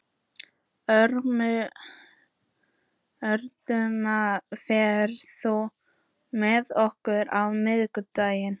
Ögmunda, ferð þú með okkur á miðvikudaginn?